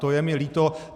To je mi líto.